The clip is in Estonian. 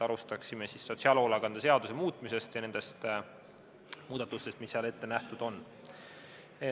Alustame sotsiaalhoolekande seaduse muutmisest ja nendest muudatustest, mis seal ette nähtud on.